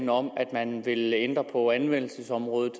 om at man vil ændre på anvendelsesområdet